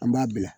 An b'a bila